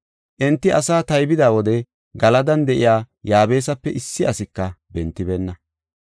Enti asa taybida wode Galadan de7iya Yaabesape issi asika bentibeenna.